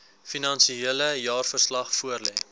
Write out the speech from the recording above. finansiële jaarverslag voorlê